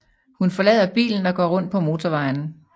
Hun forlader bilen og gå rundt på motorvejen